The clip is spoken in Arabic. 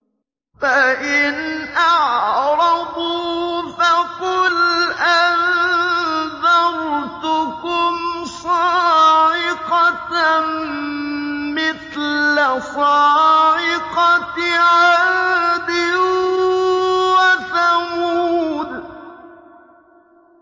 فَإِنْ أَعْرَضُوا فَقُلْ أَنذَرْتُكُمْ صَاعِقَةً مِّثْلَ صَاعِقَةِ عَادٍ وَثَمُودَ